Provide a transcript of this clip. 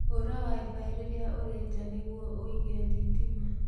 Hũra wifi rĩrĩa ũrĩ nja nĩguo ũige thitima.